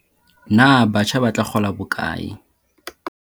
Na batjha ba tla kgola bokae?